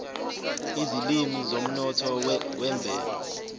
izilimi zomnotho wemvelo